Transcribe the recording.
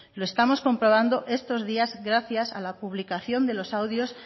lo estamos comprobando estos días gracias a la publicación de los audios